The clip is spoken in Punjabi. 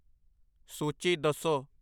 ਸੂਚੀ ਦੱਸੋ